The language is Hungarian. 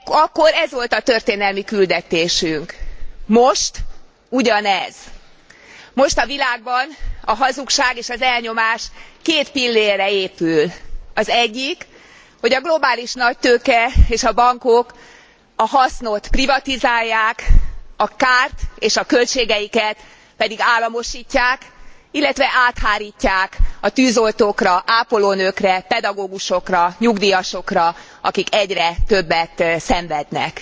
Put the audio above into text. Akkor ez volt a történelmi küldetésünk. Most ugyanez. Most a világban a hazugság és az elnyomás két pillérre épül. Az egyik, hogy a globális nagytőke és a bankok a hasznot privatizálják, a kárt és a költségeiket pedig államosítják, illetve áthárítják a tűzoltókra, ápolónőkre, pedagógusokra, nyugdíjasokra, akik egyre többet szenvednek.